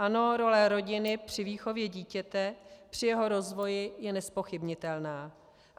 Ano, role rodiny při výchově dítěte, při jeho rozvoji je nezpochybnitelná.